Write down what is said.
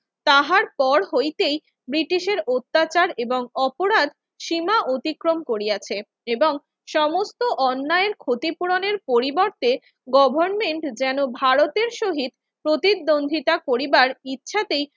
তাহার পর হইতেই ব্রিটিশের অত্যাচার এবং অপরাধ সীমা অতিক্রম করিয়াছে এবং সমস্ত অন্যায়ের ক্ষতিপূরণের পরিবর্তে গভর্নমেন্ট যেন ভারতের সহিত প্রতিদ্বন্দ্বিতা করিবার ইচ্ছাতেই